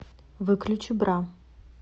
выключи бра